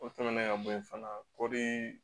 O tɛmɛnen ka bɔ yen fana kɔɔri